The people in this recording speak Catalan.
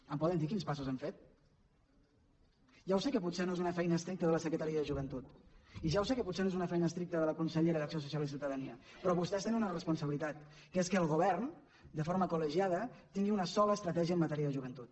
em poden dir quins passos han fet ja ho sé que potser no és una feina estricta de la secretaria de joventut i ja ho sé que potser no és una feina estricta de la consellera d’acció social i ciutadania però vostès tenen una responsabilitat que és que el govern de forma col·legiada tingui una sola estratègia en matèria de joventut